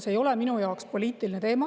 See ei ole minu jaoks poliitiline teema.